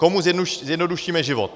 Komu zjednodušíme život?